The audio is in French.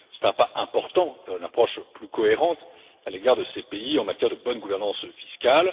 C'est un pas important vers une approche plus cohérente à l'égard de ces pays en matière de bonne gouvernance fiscale.